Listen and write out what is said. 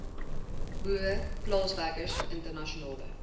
boere plaaswerkers internasionale